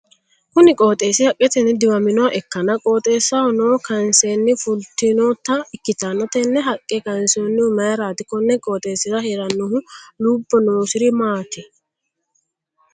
Kunni qooxeesi haqetenni diwaminoha ikkanna qooxeessaho noo kaanseenna fultinota ikitanna tenne haqe kaansoonnihu mayiraati? Konni qooxeesira heeranohu lubo noosiri maati?